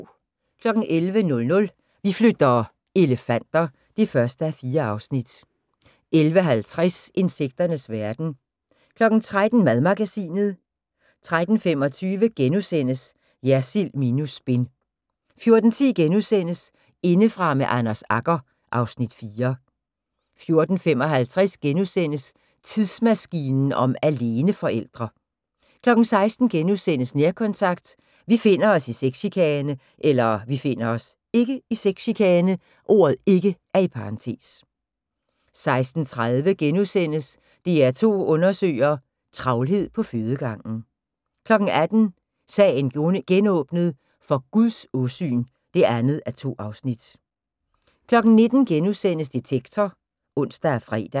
11:00: Vi flytter - elefanter (1:4) 11:50: Insekternes verden 13:00: Madmagasinet 13:25: Jersild minus spin * 14:10: Indefra med Anders Agger (Afs. 4)* 14:55: Tidsmaskinen om aleneforældre * 16:00: Nærkontakt – Vi finder os (ikke) i sexchikane * 16:30: DR2 Undersøger: Travlhed på fødegangen * 18:00: Sagen genåbnet: For Guds åsyn (2:2) 19:00: Detektor *(ons og fre)